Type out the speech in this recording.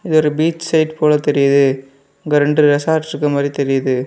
ஒரு beach side போல தெரியுது அங்க ரெண்டு ரெசார்ட் இருக்கிற மாதிரி தெரியுது.